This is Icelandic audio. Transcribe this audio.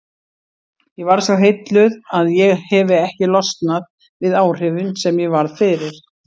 Ég varð svo heilluð að ég hefi ekki losnað við áhrifin sem ég varð fyrir.